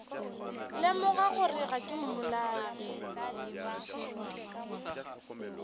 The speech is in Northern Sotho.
lemoga gore ga ke mmolai